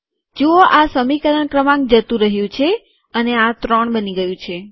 જુઓ આ સમીકરણ ક્રમાંક જતું રહ્યું છે અને આ ત્રણ બની ગયું છે